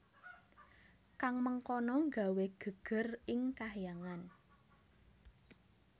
Kang mengkono gawé gègèr ing Kahyangan